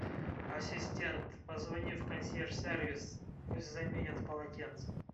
ассистент позвони в консьерж сервис пусть заменят полотенце